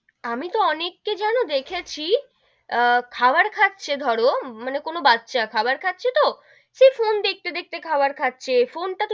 আমি তো অনেক কে যেন দেখেছি আহ খাবার খাচ্ছে ধরো মানে কোনো বাচ্চা খাবার খাচ্ছে তো, সে ফোন দেখতে দেখতে খাবার খাচ্ছে ফোন টা,